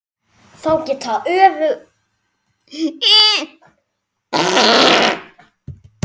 Þá geta öflugir hlutir gerst.